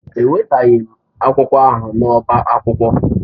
Ewetaghị m akwụkwọ ahụ n'ọbá akwụkwọ.